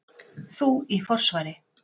Þú í forsvari.